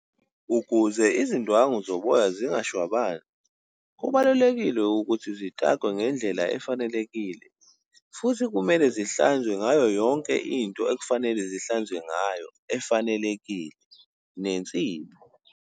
Ukuze izindwangu zoboya zingashwabani, kubalulekile ukuthi zikakwe ngendlela efanelekile. Futhi kumele zihlanzwe ngayo yonke into ekufanele zihlanzwe ngayo, efanelekile nensipho.